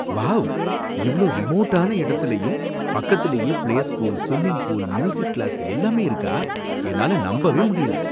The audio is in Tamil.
வாவ்! இவ்ளோ ரிமோட்டான இடத்துலயும் பக்கத்துலயே play school, swimming pool, music class எல்லாமே இருக்கா? என்னால நம்பவே முடியல.